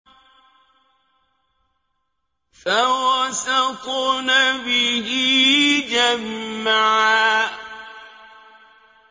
فَوَسَطْنَ بِهِ جَمْعًا